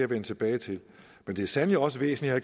vende tilbage til men det er sandelig også væsentligt at